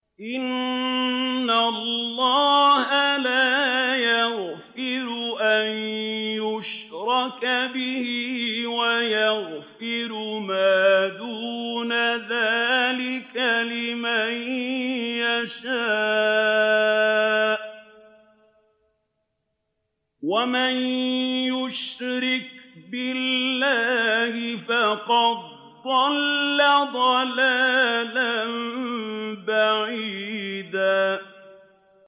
إِنَّ اللَّهَ لَا يَغْفِرُ أَن يُشْرَكَ بِهِ وَيَغْفِرُ مَا دُونَ ذَٰلِكَ لِمَن يَشَاءُ ۚ وَمَن يُشْرِكْ بِاللَّهِ فَقَدْ ضَلَّ ضَلَالًا بَعِيدًا